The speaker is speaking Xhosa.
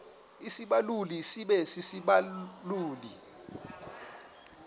isibaluli sibe sisibaluli